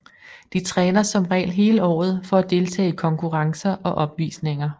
De træner som regel hele året for at deltage i konkurrencer og opvisninger